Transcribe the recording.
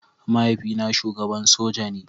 Mahaifina shugaban soja ne.